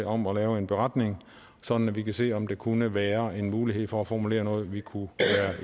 om at lave en beretning sådan at vi kan se om der kunne være en mulighed for at formulere noget vi kunne